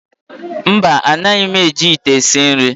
Mba, anaghị m eji ite esi nri.